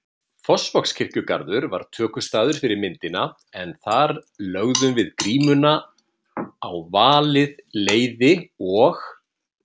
Fossvogskirkjugarður var tökustaður fyrir myndina en þar lögðum við grímuna á valið leiði og